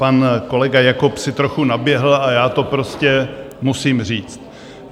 Pan kolega Jakob si trochu naběhl a já to prostě musím říct.